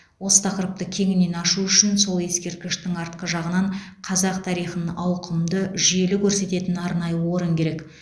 осы тақырыпты кеңінен ашу үшін сол ескерткіштің артқы жағынан қазақ тарихын ауқымды жүйелі көрсететін арнайы орын керек